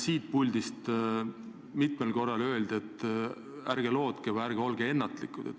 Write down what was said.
Siit puldist ju öeldi mitmel korral, et ärge seda lootke või ärge olge ennatlikud.